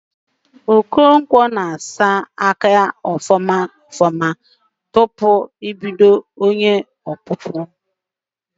Okonkwọ n'akwọ aka ya nke ọma tupu o bido ịkpụ ihe okpụkpụ